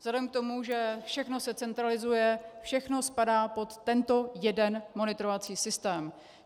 Vzhledem k tomu, že všechno se centralizuje, všechno spadá pod tento jeden monitorovací systém.